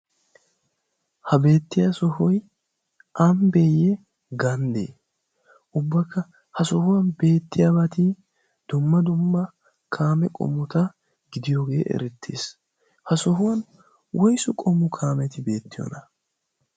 ha beettiya sohoi amibeeyye ganddee ubbakka ha sohuwan beett? aabati dumma dumma kaame qomuta gidiyoogee erittiis. ha sohuwan woysee? qomu kaameti beettiyoona?